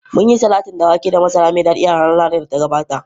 Mun yi salatin da wake da masara mai dadi a ranar Lahadin da ta gabata.